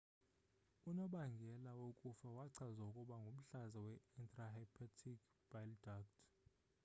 unobangela wokufa wachazwa ukuba ngumhlaza we-intrahepatic bile duct